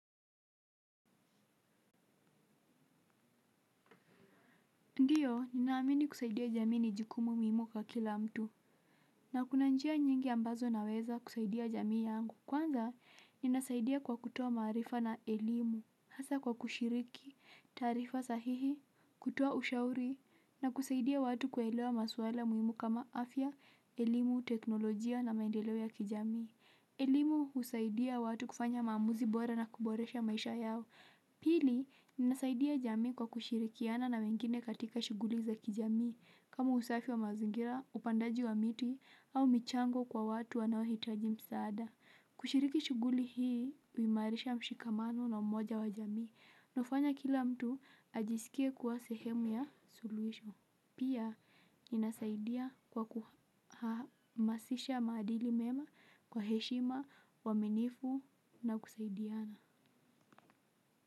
Ndiyo, ninaamini kusaidia jamii ni jukumu muimu kwa kila mtu, na kuna njia nyingi ambazo naweza kusaidia jamii yangu. Kwanza, ninasaidia kwa kutoa marifa na elimu, hasa kwa kushiriki, tarifa sahihi, kutoa ushauri, na kusaidia watu kuelewa maswala muimu kama afya, elimu, teknolojia na maendelo ya kijamii. Elimu usaidia watu kufanya maamuzi bora na kuboresha maisha yao. Pili, ninasaidia jami kwa kushirikiana na wengine katika shuguli za kijami kama usafi wa mazingira, upandaji wa miti, au michango kwa watu wanawohitaji msaada kushiriki shuguli hii, wimarisha mshikamano na mmoja wa jami nufanya kila mtu ajisikia kuwa sehemu ya solution. Pia, ninasaidia kwa kuhamasisha madili mema kwa heshima, waminifu na kusaidiana.